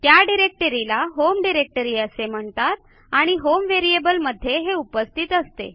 त्या डिरेक्टरीला home directory असे म्हणतात आणि होम व्हेरिएबल मध्ये हे उपस्थित असते